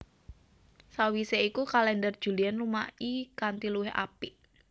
Sawisé iku kalèndher Julian lumaki kanthi luwih apik